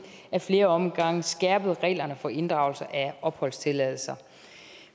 ad flere omgange har skærpet reglerne for inddragelse af opholdstilladelser